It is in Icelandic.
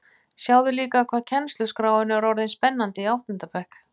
Sjáðu líka hvað kennsluskráin er orðin spennandi í átta ára bekk